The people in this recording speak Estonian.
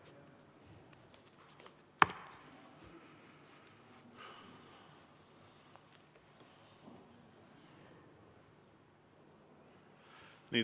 Nii.